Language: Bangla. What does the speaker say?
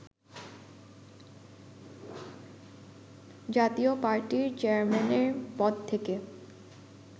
জাতীয় পার্টির চেয়ারম্যানের পদ থেকে